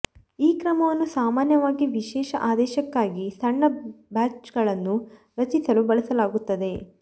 ಈ ಕ್ರಮವನ್ನು ಸಾಮಾನ್ಯವಾಗಿ ವಿಶೇಷ ಆದೇಶಕ್ಕಾಗಿ ಸಣ್ಣ ಬ್ಯಾಚ್ಗಳನ್ನು ರಚಿಸಲು ಬಳಸಲಾಗುತ್ತದೆ